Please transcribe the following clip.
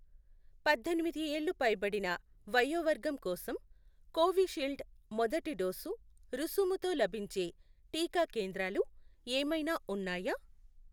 పద్దెనిమిది ఏళ్లు పైబడిన వయోవర్గం కోసం కోవిషీల్డ్ మొదటి డోసు రుసుముతో లభించే టీకా కేంద్రాలు ఏమైనా ఉన్నాయా?